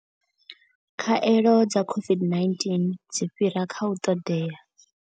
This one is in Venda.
Khaelo dza COVID-19 dzi fhira kha u ṱoḓea.